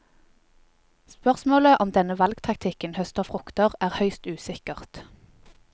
Spørsmålet om denne valgtaktikken høster frukter, er høyst usikkert.